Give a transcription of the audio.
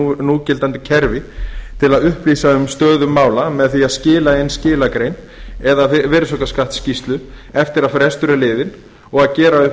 í núgildandi kerfi til að upplýsa um stöðu mála með því að skila inn skilagrein eða virðisaukaskattsskýrslu eftir að frestur er liðinn og gera upp